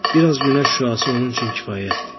Bir az günəş şüası onun üçün kifayətdir.